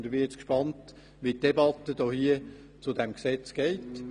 Jetzt bin ich gespannt, wie die Debatte zu diesem Gesetz verläuft.